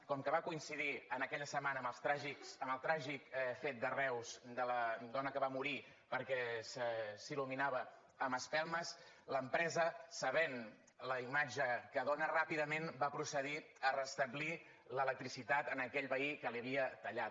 com que va coincidir en aquella setmana amb el tràgic fet de reus de la dona que va morir perquè s’il·luminava amb espelmes l’empresa sabent la imatge que dóna ràpidament va procedir a restablir l’electricitat a aquell veí a qui la hi havia tallat